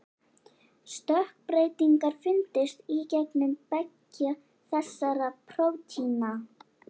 Stökkbreytingar fundust í genum beggja þessara prótína.